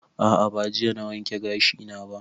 A'a ba jiya na wanke gashi na ba